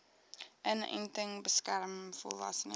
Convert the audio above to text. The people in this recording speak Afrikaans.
inenting beskerm volwassenes